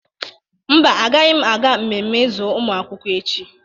Mba, agaghị m aga mmemme izu ụmụ akwụkwọ echi.